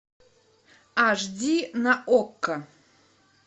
аш ди на окко